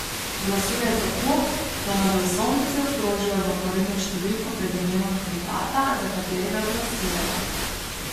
Glasujejo tako, da na glasovnici obkrožijo zaporedno številko pred imenom kandidata, za katerega glasujejo.